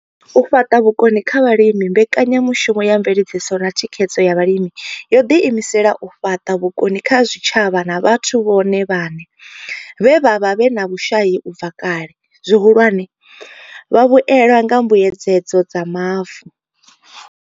U fhaṱa vhukoni kha vhalimi Mbekanya mushumo ya Mveledziso na Thikhedzo ya Vhalimi yo ḓiimisela u fhaṱa vhukoni kha zwitshavha na vhathu vhone vhaṋe vhe vha vha vhe na vhushai u bva kale, zwihulwane, vhavhuelwa kha Mbuedzedzo dza Mavu.